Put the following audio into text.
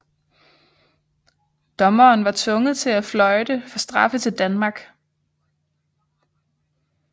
Dommeren var tvunget til at fløjte for straffe til Danmark